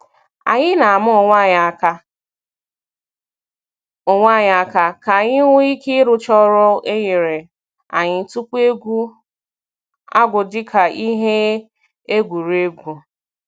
Anyị na-ama onwe anyị aka onwe anyị aka k'anyi nwee ike rụchaa ọrụ enyere anyị tupu egwu agwụ dịka ihe egwuregwu.